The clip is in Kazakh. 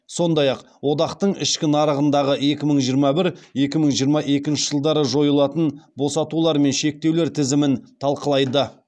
сондай ақ одақтың ішкі нарығындағы екі мың жиырма бір екі мың жиырма екінші жылдары жойылатын босатулар мен шектеулер тізімін талқылайды